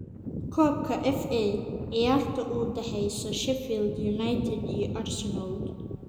Koobka FA: Ciyaarta u dhaxaysa Sheffield United iyo Arsenal